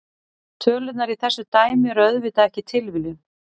Tölurnar í þessu dæmi eru auðvitað ekki tilviljun.